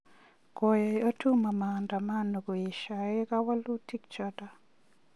Koyai Otuoma maandamano koesyoi kawalutik choto